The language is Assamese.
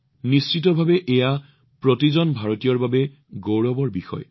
নিশ্চিতভাৱে ই প্ৰতিজন ভাৰতীয়ৰ বাবে গৌৰৱৰ কথা